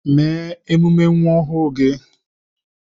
Mee emume nwa ọhụụ gị